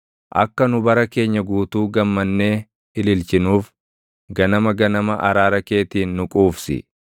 Akka nu bara keenya guutuu gammannee ililchinuuf, ganama ganama araara keetiin nu quufsi.